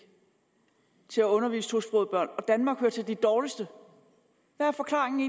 til at undervise tosprogede børn danmark hører til de dårligste hvad er forklaringen